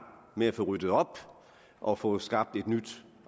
med at få ryddet op og få skabt et nyt